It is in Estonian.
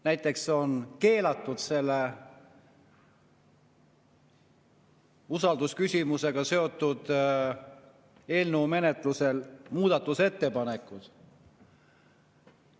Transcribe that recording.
Näiteks on usaldusküsimusega seotud eelnõu menetlusel keelatud muudatusettepanekud.